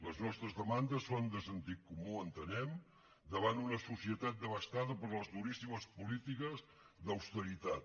les nostres demandes són de sentit comú entenem davant una societat devastada per les duríssimes polítiques d’austeritat